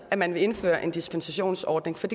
at man vil indføre en dispensationsordning for